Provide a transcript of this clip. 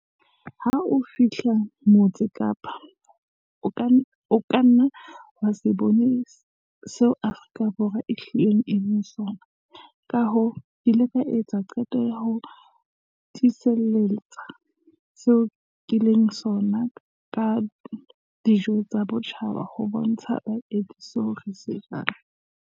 "Ha o fihla Motse Kapa, o ka nna wa se bone seo Afrika Borwa e hlileng e leng sona, kahoo ke ile ka etsa qeto ya ho tsitlallela seo ke leng sona ka dijo tsa botjhaba ho bontsha baeti seo re se jang."